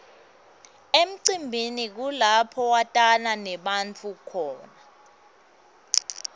emcimbini kulapho watana nebantfu khona